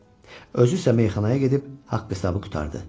Özü isə meyxanaya gedib haqq-hesabı qurtardı.